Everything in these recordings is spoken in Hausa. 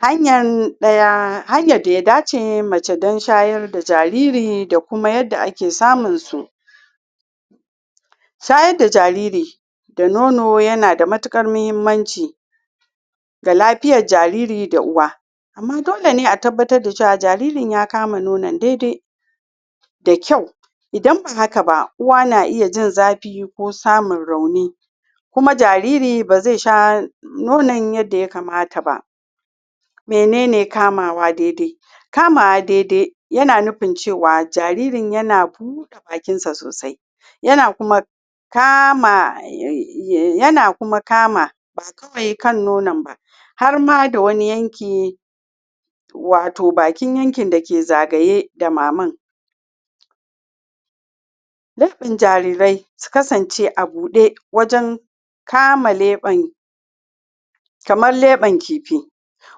hanya da ya dace mace ta dan shayar da jariri da kuma yadda ake samun su shayar da jariri da nono ya na da matukar muhimmanci ga lafiyar jariri da uwa amma dole ne a tabbata da jariri ya kama nonon daidai da kyau idan ba haka ba uwa na iya jin zafi ko samun rauni kuma jariri b zai sha nono yadda ya kamata ba menene kamawa daidai kamawa daidai yana nufi cewa jaririn yana bude bakin sa sosai yana kuma kama ba kawai kan nono ba har ma da wani yanki watau bakin yankin da ke zagaye da maman? jarirai su kasance abu daya wajen kama leben kaman leben kifi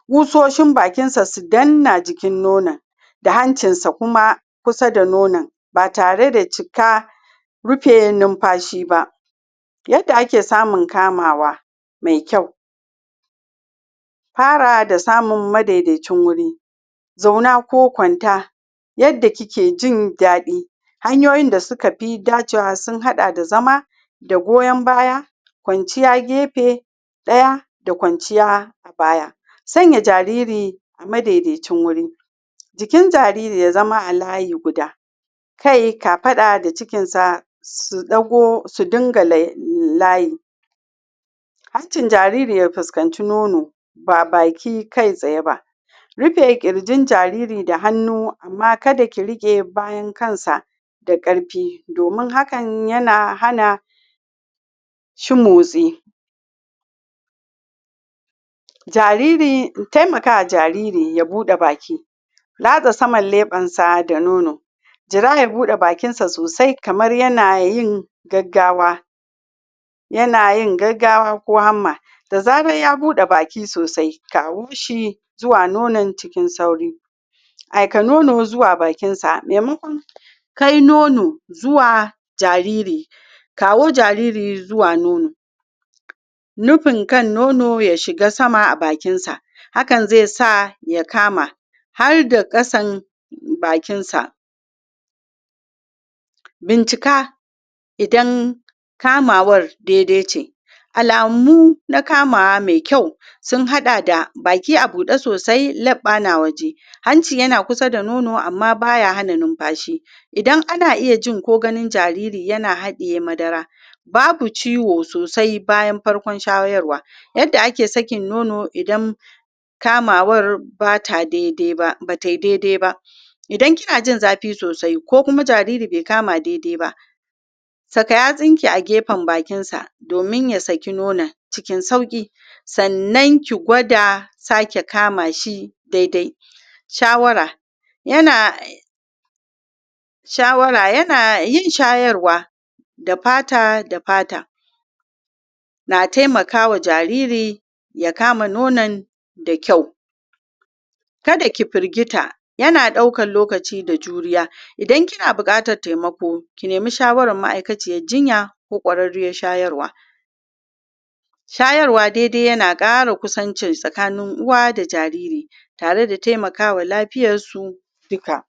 busoshin bakin sa su danna jikin nono da hancin sa kuma kusa da nono ba tare da cika rufe numfashi ba yadda ake samun kamawa mai kyau fara da samun madaidaci wuri zauna ko kwanta yadda kike jin dadi hanyoyi da suka fidacewa sun hada da zama da goyon baya, kwanciya gefe daya da kwanciya a baya sanya jariri a madaidaci wuri jikin jariri ya zama a layi guda kai kafada da cikin sa su dinga layi hancin jariri ya fuskanci nono ba baki kai tsaye ba rife kirjin jariri da hannu amma kada ki rike bayan hannun sa da karfi domin hakan yana hana shi motsi timakawa jariri ya bude baki latsa saman leben sa da nono jira ya bude bakin sa sosai kamar yana yin gaggawa yana yin gaggawa ko hamma da zara ya bude baki sosai kawo shi zuwa nonon cikin sauri aika nono zuwa bakin sa maimakon kai nonozuwa jariri kawo jariri zuwa nono nufin kan nono ya shiga sama a bakin sa hakan zai saya kama har da kasan bakin sa bincika idan kamawar daidai ce alamu na kamawa mai kyau sunhada da baki a bude sosai leɓa na waje hanci ya na kusa da nono amma ba ya hana numfashi idan har ana iya ji ko ganin jariri yanaiya hadiye madara babu ciwo sosai bayn farkon shayarwa yadda ake sakin nono idan kamawan bata daidai ba ba ta yi daidai ba idan ki na ji zafi sosai ko kuma jariri bai kama daidai ba saka yatsun ki a gefen bakinsa domin ya saki nonon cikin sauki sannan ki gwada sake kama shi daidai shawara ya na shawara ya na yin shayarwa da fata da fata na taimakawa jariri ya kama nonon da kyau kada ki firgita yana daukan nono da juriya idan ki na bukatan taimako ki nemi shawaran ma'aikaciyan jinya ko kwarariya shayarwa shayarwa daidai yana kara kusanci tsakani uwa da jariri tare da taimakawa lafiyan su duka